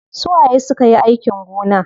Su waye sukayi aikin gona?